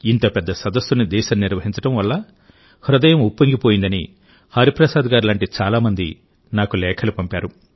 ఇంత పెద్ద సమ్మిట్ని దేశం నిర్వహించడం వల్ల హృదయం ఉప్పొంగిపోయిందని హరిప్రసాద్ గారి లాంటి చాలా మంది నాకు లేఖలు పంపారు